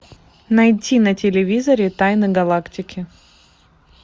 найти на телевизоре тайны галактики